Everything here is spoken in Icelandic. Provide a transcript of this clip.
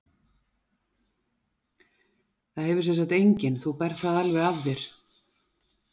Það hefur semsagt enginn, þú berð það alveg af þér?